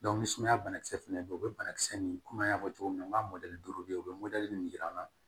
ni sumaya banakisɛ fana bɛ yen u bɛ banakisɛ nin kɔmi an y'a fɔ cogo min na n ka duuru bɛ yen u bɛ mɔdɛli min yir'an na